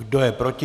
Kdo je proti?